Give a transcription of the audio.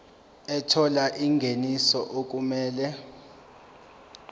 ethola ingeniso okumele